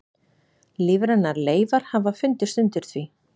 Lífrænar leifar hafa fundist undir því.